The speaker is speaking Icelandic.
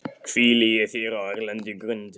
hvíli ég í þér á erlendri grund.